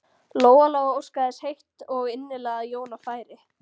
Lóa-Lóa óskaði þess heitt og innilega að Jóna færi.